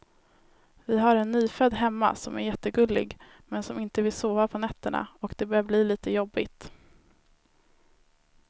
Vi har en nyfödd hemma som är jättegullig, men som inte vill sova på nätterna och det börjar bli lite jobbigt.